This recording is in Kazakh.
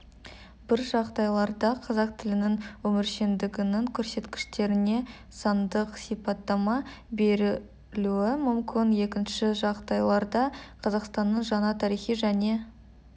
бір жағдайларда қазақ тілінің өміршеңдігінің көрсеткіштеріне сандық сипаттама берілуі мүмкін екінші жағдайларда қазақстанның жаңа тарихи және